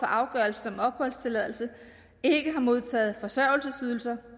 afgørelsen om opholdstilladelse ikke har modtaget forsørgelsesydelser